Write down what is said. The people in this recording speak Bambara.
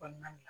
Kɔɔna la